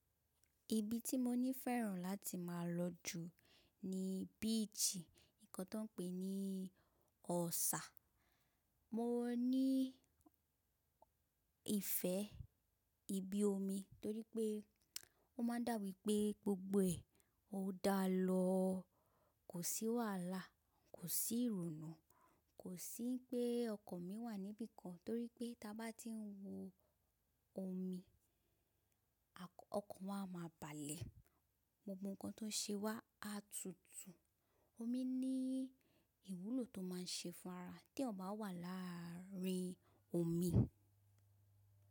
Ibi tí mo nífẹ̀ẹ́ràn láti má a lọ jù ni beach, nǹkan tó ń pè ní ọ̀sà. Mo ní ìfẹ́ ibi omi torí pé ó máa ń dà wí pé gbogbo ẹ̀ ó dá lọ, kò sí wàhálà, kò sí ìrònú, kò sí pé ọkàn mi wà níbi kan torí pé bá ti ń wo omi, ọkàn wà a máa balẹ̀. Gbogbo nǹkan tó ń ṣe wá a tutù. Omi ní ìwúlò tó máa ń ṣe fún ara tí eeyan bá wà láàrin omi.